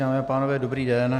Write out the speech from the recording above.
Dámy a pánové, dobrý den.